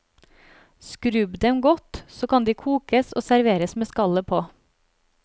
Skrubb dem godt, så kan de kokes og serveres med skallet på.